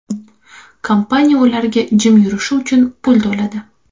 Kompaniya ularga jim yurishi uchun pul to‘ladi.